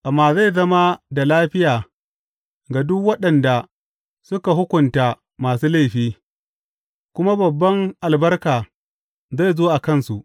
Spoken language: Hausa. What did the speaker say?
Amma zai zama da lafiya ga duk waɗanda suka hukunta masu laifi, kuma babban albarka zai zo a kansu.